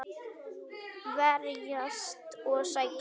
Verjast og sækja.